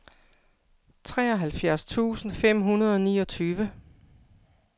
treoghalvfjerds tusind fem hundrede og niogtyve